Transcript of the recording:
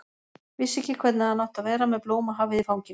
Vissi ekki hvernig hann átti að vera með blómahafið í fanginu.